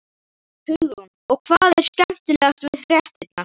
Hugrún: Og hvað er skemmtilegast við fréttirnar?